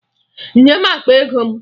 Nye m akpa ego m!